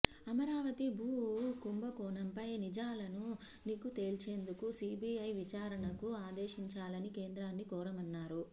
అమరావతి భూ కుంభకోణంపై నిజాలను నిగ్గు తేల్చేందుకు సీబీఐ విచారణకు ఆదేశించాలని కేంద్రాన్ని కోరామన్నారు